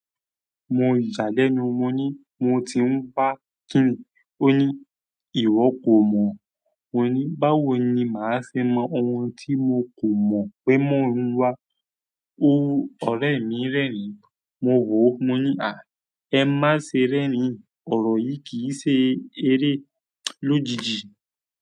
Mo ń jalè ni mo ní mo ti ń bá kí nì, ó ní ìwọ kò mọ̀, mo ní báwo ni máa ṣe mọ ohun tí mo kò mọ̀ pé mọ́ o wa, ó wu ọ̀rẹ́ mi rẹ́rìn-ín, mo wò ó, mo ní àí ẹ má ṣe rẹ́rìn-ín ọ̀rọ̀ yìí kì í ṣe eré lójijì.